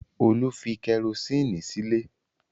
Olú fi kẹrósíínì sílé?